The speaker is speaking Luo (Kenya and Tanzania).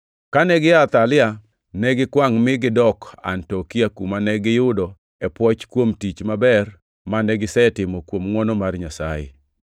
Kane gia Atalia, negikwangʼ mi gidok Antiokia, kuma ne giyudo e pwoch kuom tich maber mane gisetimo kuom ngʼwono mar Nyasaye.